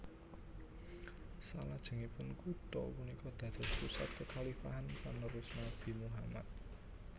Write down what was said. Salajengipun kutha punika dados pusat kekhalifan panerus Nabi Muhammad